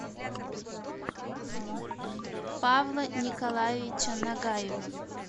павла николаевича нагаева